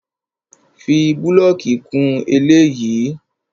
Fi búlọ̀kì kún eléyìí!